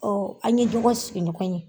Ɔɔ an ye ɲɔgɔn sigi ɲɔgɔn ye.